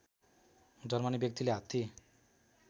जन्मने व्यक्तिले हात्ती